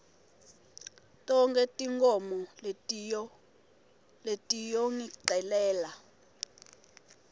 tonkhe tinkhomo letiyongicelela